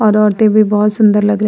और औरतें भी बोहोत सुन्दर लग रही --